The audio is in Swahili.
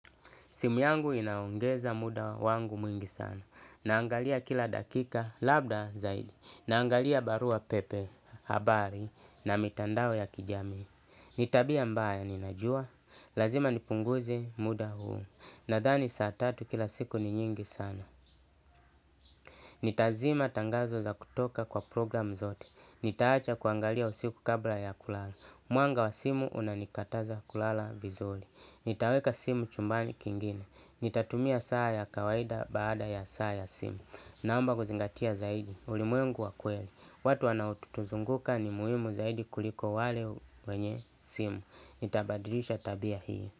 Simu yangu inaongeza muda wangu mwingi sana. Naangalia kila dakika labda zaidi. Naangalia barua pepe, habari na mitandao ya kijamii. Ni tabia mbaya ninajua. Lazima nipunguze muda huu. Nadhani saa tatu kila siku ni nyingi sana. Nitazima tangazo za kutoka kwa program zote. Nitaacha kuangalia usiku kabla ya kulala. Mwanga wa simu unanikataza kulala vizuri. Nitaweka simu chumbani kingine. Nitatumia saa ya kawaida baada ya saa ya simu. Naomba kuzingatia zaidi ulimwengu wa kweli. Watu wanaotuzunguka ni muhimu zaidi kuliko wale wenye simu. Nitabadilisha tabia hii.